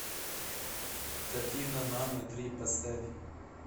картина мамы три поставь